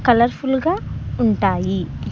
Colourful గా ఉంటాయి.